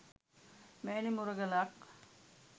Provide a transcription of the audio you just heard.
මෙවැනි මුරගලක්